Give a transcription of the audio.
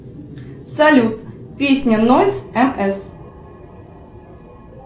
салют песня нойз мс